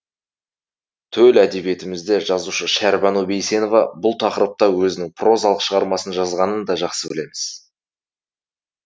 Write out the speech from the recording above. төл әдебиетімізде жазушы шәрбану бейсенова бұл тақырыпта өзінің прозалық шығармасын жазғанын да жақсы білеміз